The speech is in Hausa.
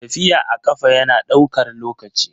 Tafiya a ƙafa yana ɗaukar lokaci.